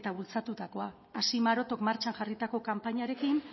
eta bultzatutakoa hasi marotok martxan jarritako kanpainarekin